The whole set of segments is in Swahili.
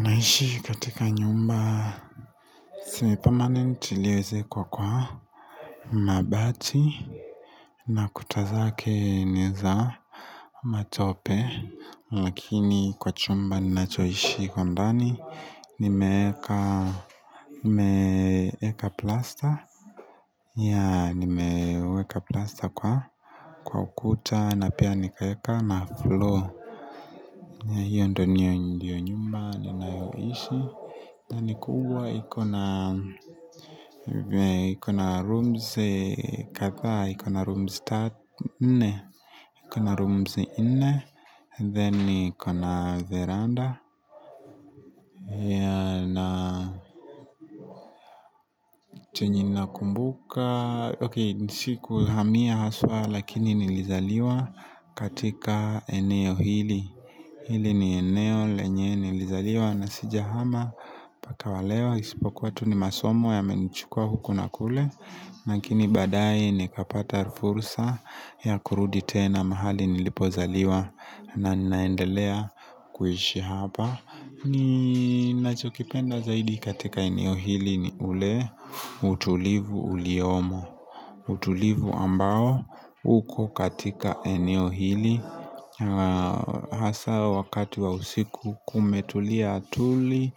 Naishi katika nyumba Si pamanent nitiliweze kwa kwa Mabati na kuta zake ni za Matope lakini kwa chumba ninachoishi kwa ndani nimeeka Nimeeka plasta ya nimeeka plasta kwa Kwa ukuta na pia nikaeka na flow ya hiyo ndo nyo ndiyo nyumba ninayoishi na ni kuuwa ikona rooms katha, ikona rooms 4, ikona rooms 4, then iko na veranda na chenyeim nakumbuka, ok nisikuhamia haswa lakini nilizaliwa katika eneo hili Hili ni eneo lenye nilizaliwa na sijahama mpaka wa leo isipokuwa tu ni masomo ya imenichukua huku na kule lakini badae nikapata fursa ya kurudi tena mahali nilipozaliwa na ninaendelea kuishi hapa ninachokipenda zaidi katika eneo hili ni ule utulivu uliyomo utulivu ambao huku katika eneo hili Hasa wakati wa usiku kumetulia tuli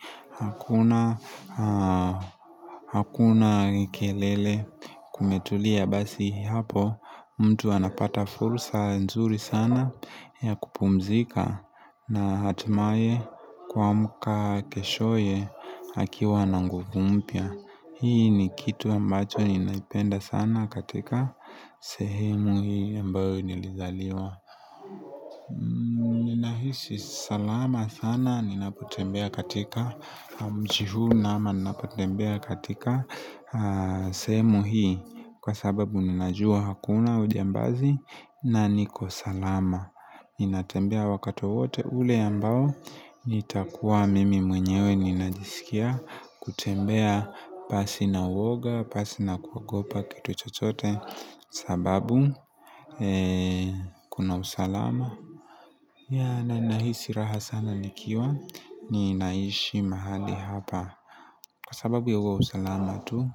Hakuna kelele kumetulia basi hapo mtu anapata fursa nzuri sana ya kupumzika na hatimaye kuamka keshoye akiwa na nguvu mpya Hii ni kitu ambacho ninaipenda sana katika sehemu hii ambayo nilizaliwa Nahisi salama sana ninapotembea katika mji huu ama ninapotembea katika sehemu hii kwa sababu ninajua hakuna ujambazi na niko salama Ninatembea wakati wote ule ambao nitakuwa mimi mwenyewe ninajisikia kutembea pasi na uoga pasi na kuagopa kito chochote sababu kuna usalama ya na naihisi raha sana nikiwa ni naishi mahali hapa Kwa sababu ya uwa usalama tu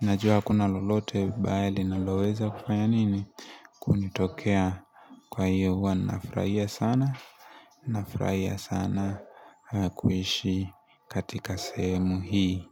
Najua kuna lolote baya linaloweza kufanya nini kunitokea Kwa hiyo uwa nafraia sana Nafraia sana kuishi katika semu hii.